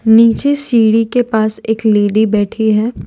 नीचे सीढ़ी के पास एक लेडी बैठी है।